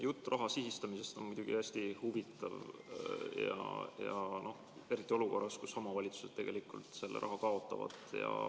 Jutt raha sihitamisest on muidugi hästi huvitav, eriti olukorras, kus omavalitsused tegelikult raha kaotavad.